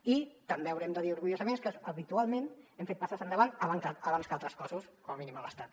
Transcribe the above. i també haurem de dir orgullosament que habitualment hem fet passes endavant abans que altres cossos com a mínim a l’estat